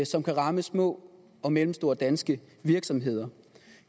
som kan ramme små og mellemstore danske virksomheder